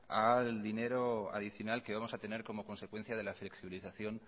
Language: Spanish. al dinero adicional que vamos a tener como consecuencia de la flexibilización